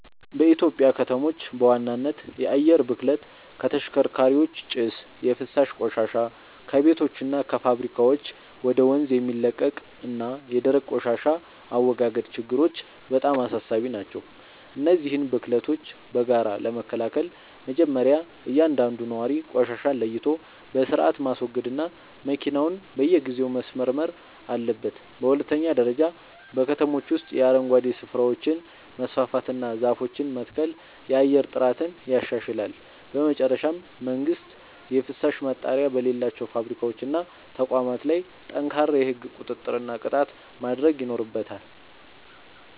በኢትዮጵያ ከተሞች በዋናነት የአየር ብክለት (ከተሽከርካሪዎች ጭስ)፣ የፍሳሽ ቆሻሻ (ከቤቶችና ከፋብሪካዎች ወደ ወንዝ የሚለቀቅ) እና የደረቅ ቆሻሻ አወጋገድ ችግሮች በጣም አሳሳቢ ናቸው። እነዚህን ብክለቶች በጋራ ለመከላከል መጀመርያ እያንዳንዱ ነዋሪ ቆሻሻን ለይቶ በሥርዓት ማስወገድና መኪናውን በየጊዜው ማስመርመር አለበት። በሁለተኛ ደረጃ በከተሞች ውስጥ የአረንጓዴ ስፍራዎችን ማስፋፋትና ዛፎችን መትከል የአየር ጥራትን ያሻሽላል። በመጨረሻም መንግሥት የፍሳሽ ማጣሪያ በሌላቸው ፋብሪካዎችና ተቋማት ላይ ጠንካራ የሕግ ቁጥጥርና ቅጣት ማድረግ ይኖርበታል።